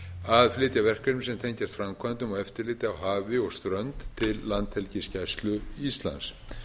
að flytja verkefni sem tengjast framkvæmdum og eftirliti á hafi og strönd til landhelgisgæslu íslands